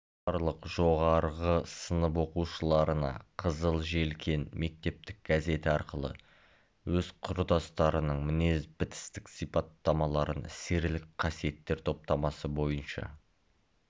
барлық жоғарғы сынып оқушыларына қызыл желкен мектептік газеті арқылы өз құрдастарының мінез-бітістік сипаттамаларын серілік қасиеттер топтамасы бойынша